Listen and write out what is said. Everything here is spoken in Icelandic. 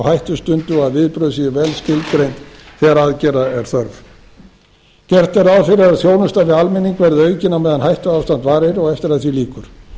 hættustundu og að viðbrögð séu vel skilgreind þegar aðgerða er þörf gert er ráð fyrir að þjónusta við almenning verði aukin á meðan hættuástand varir og eftir að því lýkur